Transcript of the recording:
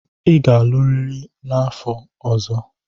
Ị ga-alụrịrị n'afọ ọzọ.